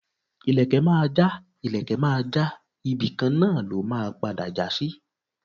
ìlekẹ̀ Maja, ìlekẹ̀ Maja, ibíkan na lọ́ ma pada jasí